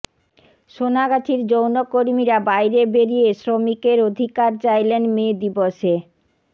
সোনাগাছির যৌনকর্মীরা বাইরে বেরিয়ে শ্রমিকের অধিকার চাইলেন মে দিবসে